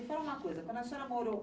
me fala uma coisa, quando a senhora morou